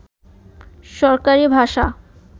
সরকারী ভাষা